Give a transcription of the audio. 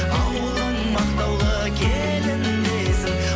ауылың мақтаулы келін десін